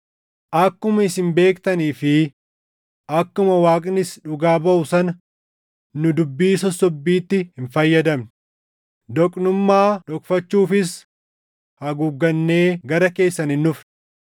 Akkuma isin beektanii fi akkuma Waaqnis dhugaa baʼu sana nu dubbii sossobbiitti hin fayyadamne; doqnummaa dhokfachuufis haguuggannee gara keessan hin dhufne.